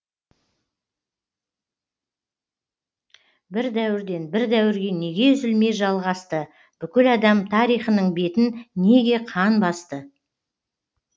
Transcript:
бір дәуірден бір дәуірге неге үзілмей жалғасты бүкіл адам тарихының бетін неге қан басты